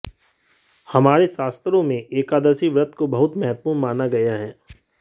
हमारे शास्त्रों में एकादशी व्रत को बहुत महत्वपूर्ण माना गया है